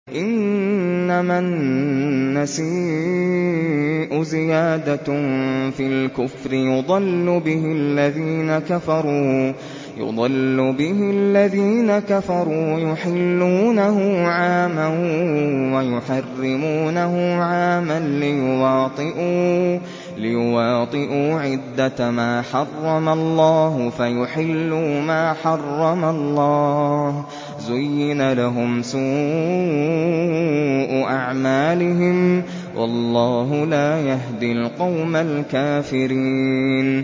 إِنَّمَا النَّسِيءُ زِيَادَةٌ فِي الْكُفْرِ ۖ يُضَلُّ بِهِ الَّذِينَ كَفَرُوا يُحِلُّونَهُ عَامًا وَيُحَرِّمُونَهُ عَامًا لِّيُوَاطِئُوا عِدَّةَ مَا حَرَّمَ اللَّهُ فَيُحِلُّوا مَا حَرَّمَ اللَّهُ ۚ زُيِّنَ لَهُمْ سُوءُ أَعْمَالِهِمْ ۗ وَاللَّهُ لَا يَهْدِي الْقَوْمَ الْكَافِرِينَ